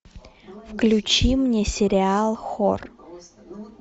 включи мне сериал хор